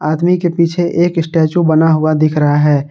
आदमी के पीछे एक स्टेचू बना हुआ दिख रहा है।